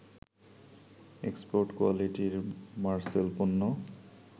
export কোয়ালিটির মারসেল পণ্য